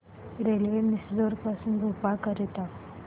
railway Misrod पासून भोपाळ करीता